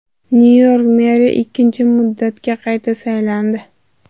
Nyu-York meri ikkinchi muddatga qayta saylandi.